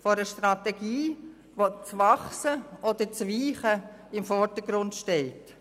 Von einer Strategie, bei der das Wachsen und das Weichen im Vordergrund stehen.